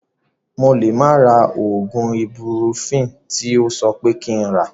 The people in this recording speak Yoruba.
Mo lè má ra oògùn ibupurofini tí o sọ pé kí n rà